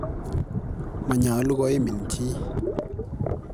Manyolu koimin chi?